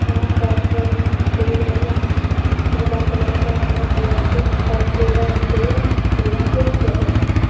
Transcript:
यहाँ चार सेट में फूल होला। पीला कलर क हरा कलर क और पूरा स्टेज फूलन से सजल होला।